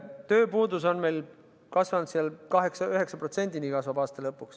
Tööpuudus on kasvanud ja kasvab aasta lõpuks 8–9%-ni.